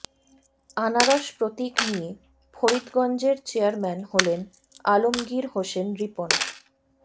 আনারস প্রতীক নিয়ে ফরিদগঞ্জের চেয়ারম্যান হলেন আলমগীর হোসেন রিপন